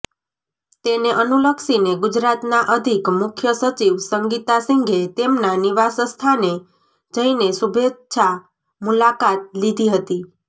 તેને અનુલક્ષીને ગુજરાતના અધિક મુખ્ય સચિવ સંગીતા સિંઘે તેમના નિવાસસ્થાને જઇને શુભેચ્છા મુલાકાત લીધી હતી